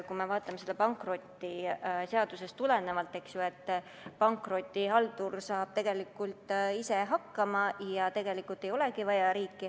Kui me vaatame seda pankrotiseadusest tulenevalt, siis pankrotihaldur saab ise hakkama ja tegelikult ei olegi riiki vaja.